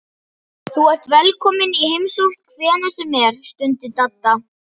Þú ert velkominn í heimsókn hvenær sem er stundi Dadda.